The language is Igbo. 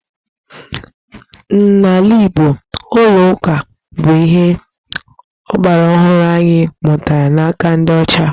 N'ala Igbo, ụlọ ụka bụ ihe ọgbaraọhụrụ anyị mụtara n'aka ndị ọcha